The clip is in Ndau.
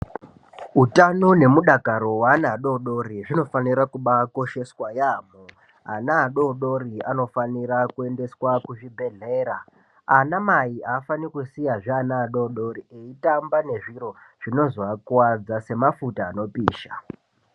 Wutano nemudakaro wana wadodori, zvinofanira kubakosheswa yamo. Ana adodori anofanira kuyendeswa kuzvibhedhlera. Anamayi afaniri kusiyazve ana adodori eyitamba nezviro zvinozvowakuwadza, semafuta anopisha.